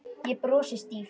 Ég brosi stíft.